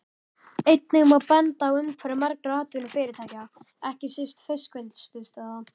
Einnig má benda á umhverfi margra atvinnufyrirtækja, ekki síst fiskvinnslustöðva.